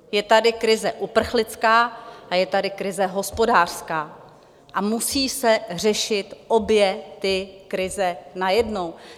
Je tady krize uprchlická a je tady krize hospodářská a musí se řešit obě ty krize najednou.